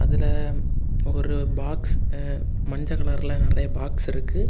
இதுல ஒரு பாக்ஸ் மஞ்ச கலர்ல நெறைய பாக்ஸ் இருக்கு.